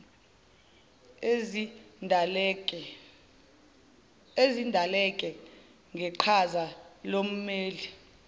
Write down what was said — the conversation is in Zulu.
ezidaleke ngeqhaza lommeli